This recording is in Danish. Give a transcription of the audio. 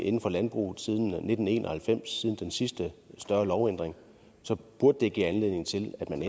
inden for landbruget siden nitten en og halvfems siden den sidste større lovændring så burde det give anledning til at man